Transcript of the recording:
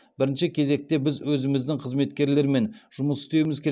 бірінші кезекте біз өзіміздің қызметкерлермен жұмыс істеуіміз керек